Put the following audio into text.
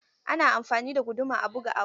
Ana amfani da guduma a buga abu.